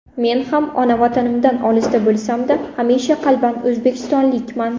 Men ona Vatanimdan olisda bo‘lsam-da, hamisha qalban o‘zbekistonlikman.